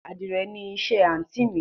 Adìrẹ ni iṣẹ́ àntí mi